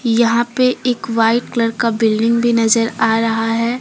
यहां पे एक व्हाइट कलर का बिल्डिंग भी नजर आ रहा है।